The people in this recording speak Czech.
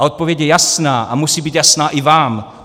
A odpověď je jasná a musí být jasná i vám.